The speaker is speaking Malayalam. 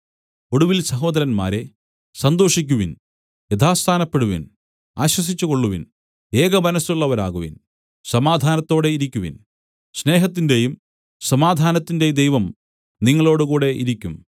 ഒടുവിൽ സഹോദരന്മാരേ സന്തോഷിക്കുവിൻ യഥാസ്ഥാനപ്പെടുവിൻ ആശ്വസിച്ചുകൊള്ളുവിൻ ഏകമനസ്സുള്ളവരാകുവിൻ സമാധാനത്തോടെ ഇരിക്കുവിൻ സ്നേഹത്തിന്റെയും സമാധാനത്തിന്റെയും ദൈവം നിങ്ങളോടുകൂടെ ഇരിക്കും